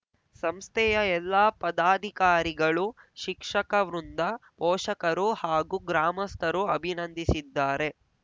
ಸಂಸ್ಥೆಯ ಎಲ್ಲಾ ಪದಾಧಿಕಾರಿಗಳು ಶಿಕ್ಷಕವೃಂದ ಪೋಷಕರು ಹಾಗೂ ಗ್ರಾಮಸ್ಥರು ಅಭಿನಂದಿಸಿದ್ದಾರೆ